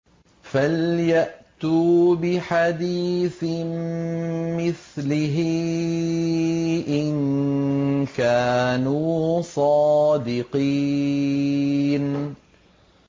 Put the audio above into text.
فَلْيَأْتُوا بِحَدِيثٍ مِّثْلِهِ إِن كَانُوا صَادِقِينَ